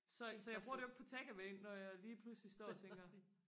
så så jeg bruger det jo ikke på takeaway når jeg lige pludselig står og tænker